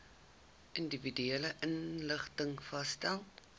individuele inrigtings vasgestel